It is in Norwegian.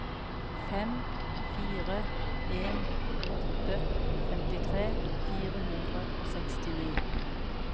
fem fire en åtte femtitre fire hundre og sekstini